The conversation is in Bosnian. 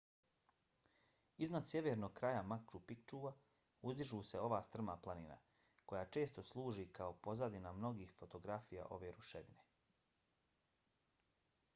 iznad sjevernog kraja machu picchua uzdiže se ova strma planina koja često služi kao pozadina mnogih fotografija ove ruševine